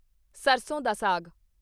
ਸਰਸੋਂ ਦਾ ਸਾਗ